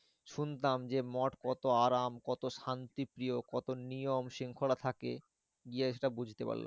শুনতাম যে মঠ কত আরাম? কত শান্তিপ্রিয় কত নিয়ম শৃঙ্খলা থাকে? গিয়ে ওটা বুঝতে পারলাম।